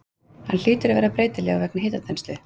Hann hlýtur að vera breytilegur vegna hitaþenslu?